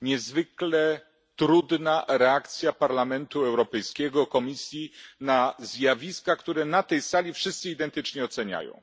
niezwykle trudna reakcja Parlamentu Europejskiego, Komisji na zjawiska, które na tej sali wszyscy identycznie oceniają.